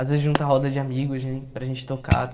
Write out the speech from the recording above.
Às vezes junta roda de amigos para gente tocar.